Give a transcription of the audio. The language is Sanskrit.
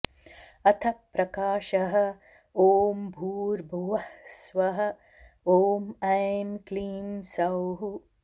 अथ प्रकाशः ॐ भूर्भुवः स्वः ॐ ऐं क्लीं सौः